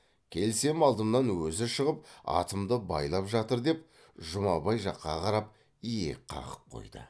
келсем алдымнан өзі шығып атымды байлап жатыр деп жұмабай жаққа қарап иек қағып қойды